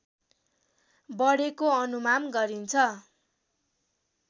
बढेको अनुमान गरिन्छ